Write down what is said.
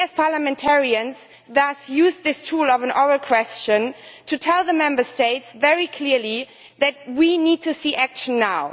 We, as parliamentarians, thus use this tool of an oral question to tell the Member States very clearly that we need to see action now.